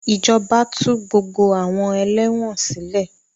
Ìjọba tú gbogbo àwọn ẹlẹ́wọ̀n sile